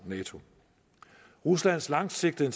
nato ruslands langsigtede